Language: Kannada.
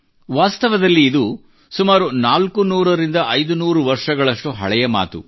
ವಾಸ್ತವದಲ್ಲಿ ಇದು ಸುಮಾರು ನಾಲ್ಕುನೂರರಿಂದ ಐದು ನೂರು ವರ್ಷಗಳಷ್ಟು ಹಳೆಯ ಮಾತು